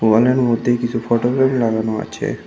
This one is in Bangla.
ওয়াল এর মধ্যে কিছু ফটো ফ্রেম লাগানো আছে।